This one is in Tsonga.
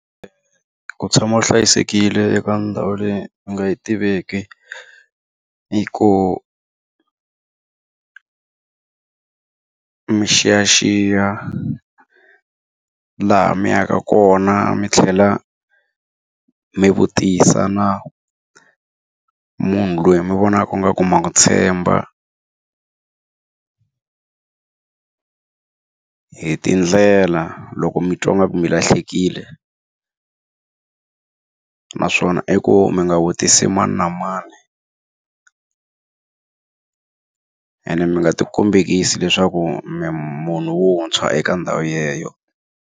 Ku tshama u hlayisekile eka ndhawu leyi u nga yi tiveki i ku mi xiyaxiya laha mi yaka kona, mi tlhela mi vutisa na munhu loyi mi vonaka ingaku ma n'wi tshemba hi tindlela loko mi twa ingaku mi lahlekile. Naswona i ku mi nga vutisa mani na mani ene mi nga ti kombekisi leswaku mi munhu wuntshwa eka ndhawu yeleyo.